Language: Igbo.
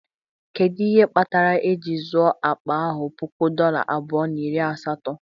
Kedu ihe kpatara eji zụo akpa ahụ puku dola abụọ na iri asatọ?